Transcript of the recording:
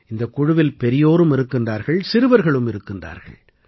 இந்தக் குழுவில் பெரியோரும் இருக்கிறார்கள் சிறுவர்களும் இருக்கிறார்கள்